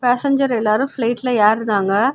Passenger எல்லாரும் ஃபிளைட்ல ஏறுதாங்க.